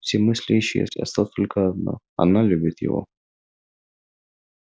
все мысли исчезли осталось только одно она любит его